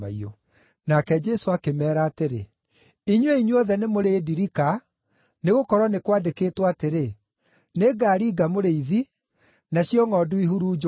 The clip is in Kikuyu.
Nake Jesũ akĩmeera atĩrĩ, “Inyuĩ inyuothe nĩmũrĩndirika, nĩgũkorwo nĩ kwandĩkĩtwo atĩrĩ: “ ‘Nĩngaringa mũrĩithi, nacio ngʼondu ihurunjũke.’